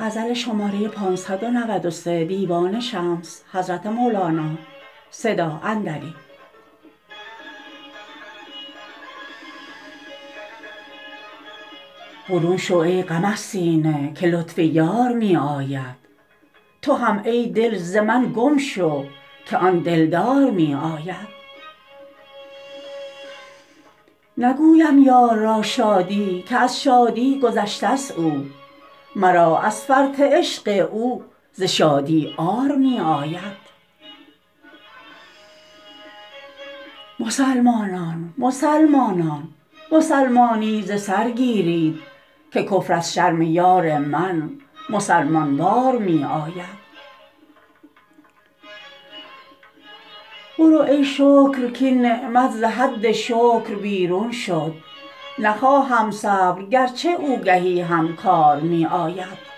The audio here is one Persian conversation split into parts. برون شو ای غم از سینه که لطف یار می آید تو هم ای دل ز من گم شو که آن دلدار می آید نگویم یار را شادی که از شادی گذشتست او مرا از فرط عشق او ز شادی عار می آید مسلمانان مسلمانان مسلمانی ز سر گیرید که کفر از شرم یار من مسلمان وار می آید برو ای شکر کاین نعمت ز حد شکر بیرون شد نخواهم صبر گرچه او گهی هم کار می آید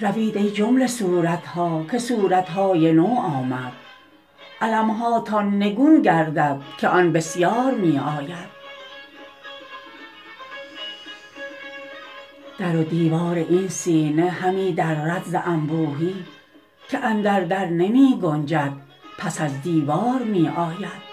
روید ای جمله صورت ها که صورت های نو آمد علم هاتان نگون گردد که آن بسیار می آید در و دیوار این سینه همی درد ز انبوهی که اندر در نمی گنجد پس از دیوار می آید